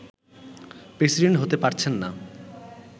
president হতে পারছেননা